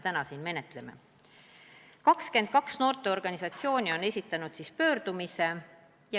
22 noorteorganisatsiooni on esitanud oma pöördumise.